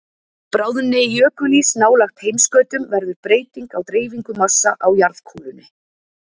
Bráðni jökulís nálægt heimskautum verður breyting á dreifingu massa á jarðkúlunni.